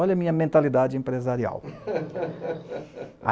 Olha a minha mentalidade empresarial.